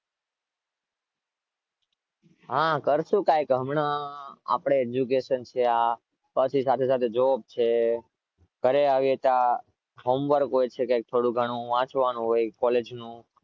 હા કરશુ કંઈક હમણાં આપણે education છે આ સાથે સાથે જોબ છે ઘરે આવે ત્યારે home work હોય છે થોડુંક ઘણું વાંચવાનું હોય છે college નું